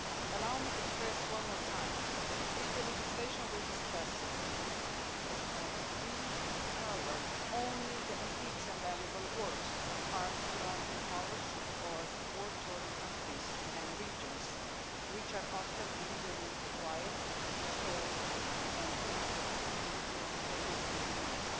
Allow me to stress one more time that with the legislation we are discussing, we cover only antiques and valuable works of art from impoverished or war-torn countries and regions, which are often illegally acquired, sold and imported into the European Union.